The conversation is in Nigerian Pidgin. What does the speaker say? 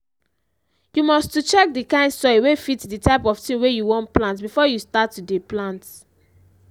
you must to check the kind soil wey fit the type of thing wey you wan plant before you start to dey plant.